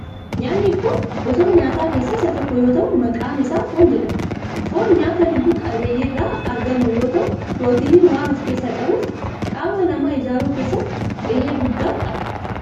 Nyaatni kun gosoota nyaataa keessaa isa tokko yoo ta'u maqaan isaa foon jedhama. foon nyaata lubbu qabeeyyii irraa argamu yoo ta'u pirootinii waan of keessaa qabuf qaama namaa ijaaruu keesssatti gahee guddaa qaba.